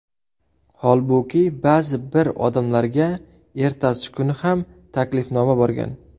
Holbuki, ba’zi bir odamlarga ertasi kuni ham taklifnoma borgan.